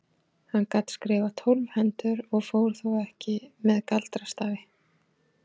Hann gat skrifað tólf hendur og fór þó ekki með galdrastafi.